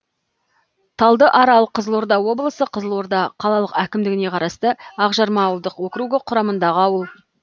талдыарал қызылорда облысы қызылорда қалалық әкімдігіне қарасты ақжарма ауылдық округі құрамындағы ауыл